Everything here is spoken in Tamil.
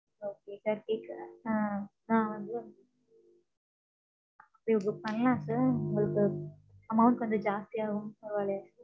okay thirty க்கு. ஆஹ் ஆஹ் அது book பண்ணலாம் sir உங்களுக்கு, amount கொஞ்சம் ஜாஸ்தியாகும். பரவால்லையா?